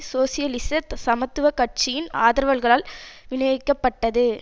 சோசியலிச சமத்துவ கட்சியின் ஆதரவாளர்களால் வினியோகிக்கப்பட்டது